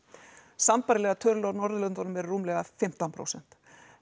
sambærilegar tölur frá Norðurlöndunum eru rúmlega fimmtán prósent